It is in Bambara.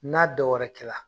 N'a dɔwɛrɛ kɛra